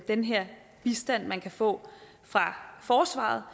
den her bistand man kan få fra forsvaret